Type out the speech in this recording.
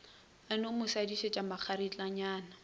a no mo šadišetša makgaritlanyana